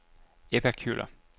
Ebba Kjøller